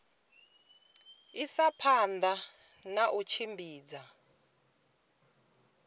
isa phanda na u tshimbidza